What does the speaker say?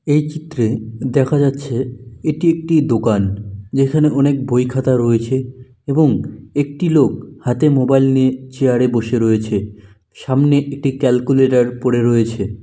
এই চিত্রে দেখা যাচ্ছে এটি একটি দোকান যেখানে অনেক বইখাতা রয়েছে এবং একটি লোক হাতে মোবাইল নিয়ে চেয়ারে বসে রয়েছে সামনে একটি ক্যালকুলেটর পড়ে রয়েছে ।